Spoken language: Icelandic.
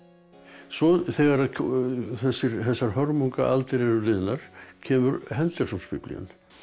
svo þegar þessar hörmungaaldir eru liðnar kemur henderson Biblían